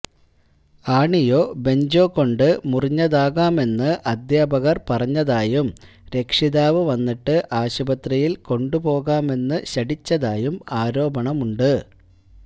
ആണിയോ ബെഞ്ചോ കൊണ്ട് മുറിഞ്ഞതാകാമെന്ന് അധ്യാപകര് പറഞ്ഞതായും രക്ഷിതാവ് വന്നിട്ട് ആശുപത്രിയില് കൊണ്ടുപോകാമെന്നു ശഠിച്ചതായും ആരോപണമുണ്ട്